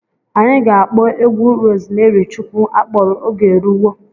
Anyị ga-akpọ egwu Rozmeri Chukwu akpọrọ 'Oge Eruwo'.